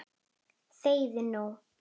ÞEGIÐU NÚ!